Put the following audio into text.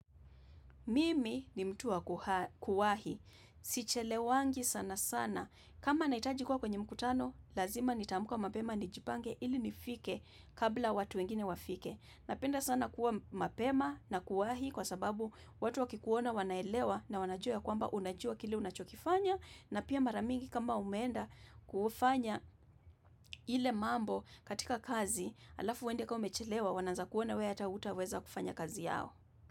Mimi ni mtu wa kuwahi. Sichelewangi sana sana. Kama nahitaji kwa kwenye mkutano, lazima nitaamka mapema ni jipange ili nifike kabla watu wengine wafike. Napenda sana kuwa mapema na kuwahi kwa sababu watu wakikuona wanaelewa na wanajua ya kwamba unajua kile unachokifanya na pia maramingi kama umeenda kufanya ile mambo katika kazi alafu uende kwa umechelewa wanaanza kuona wewe hata utaweza kufanya kazi yao.